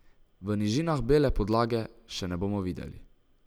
V nižinah bele podlage še ne bomo videli.